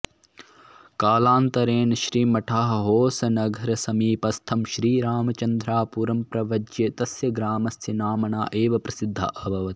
कालान्तरेण श्रीमठः होसनगरसमीपस्थं श्रीरामचन्द्रापुरं प्रव्रज्य तस्य ग्रामस्य नाम्ना एव प्रसिद्धः अभवत्